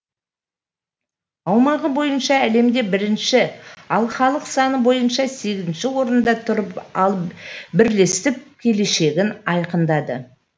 аумағы бойынша әлемде бірінші ал халық саны бойынша сегізінші орында тұрған алып бірлестік келешегін айқындады